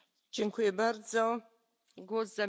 Frau Präsidentin, Hohe Vertreterin!